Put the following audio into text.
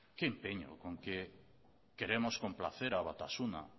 qué empeño con que queremos complacer a batasuna